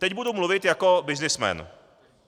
Teď budu mluvit jako byznysmen.